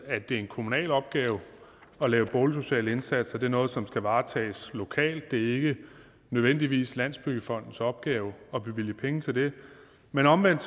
at det er en kommunal opgave at lave boligsociale indsatser det er noget som skal varetages lokalt det er ikke nødvendigvis landsbyggefondens opgave at bevilge penge til det men omvendt